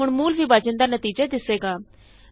ਹੁਣ ਮੂਲ ਵਿਭਾਜਨ ਦਾ ਨਤੀਜਾ ਦਿੱਸੇਗਾ